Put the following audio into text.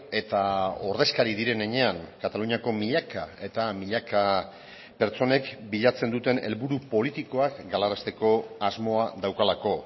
eta ordezkari diren heinean kataluniako milaka eta milaka pertsonek bilatzen duten helburu politikoak galarazteko asmoa daukalako